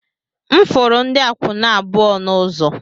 M furu ndị akwụna abụọ n'ụzọ